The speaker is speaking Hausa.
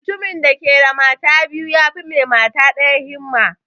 Mutumin da ke da mata biyu yafi mai mata ɗaya himma